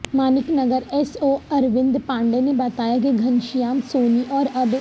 Manek Nagar S O Arvind Pandey نے بتایا کہ گھنشیام سونی اور اب